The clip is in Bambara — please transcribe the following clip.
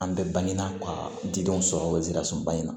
An bɛ bange na ka denw sɔrɔ wizaba in na